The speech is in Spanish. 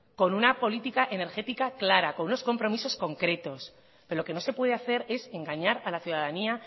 con una política energética clara con unos compromisos concretos pero lo que no se puede hacer es engañar a la ciudadanía